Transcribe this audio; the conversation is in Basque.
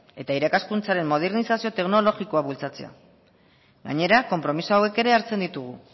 eta irakaskuntzaren modernizazio teknologikoa bultzatzea gainera konpromiso hauek ere hartzen ditugu